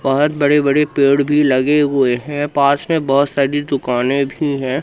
बहोत बड़े बड़े पेड़ भी लगे हुए हैं पास में बहोत सारी दुकानें भी है।